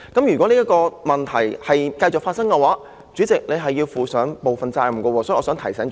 如果這個問題繼續發生，主席你要負上部分責任，所以我想提醒主席。